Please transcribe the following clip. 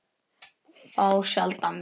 Þá sjaldan við